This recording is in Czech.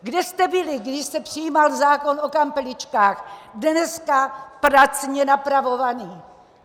Kde jste byli, když se přijímal zákon o kampeličkách, dneska pracně napravovaný?